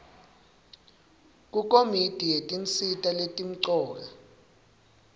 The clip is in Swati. kukomiti yetinsita letimcoka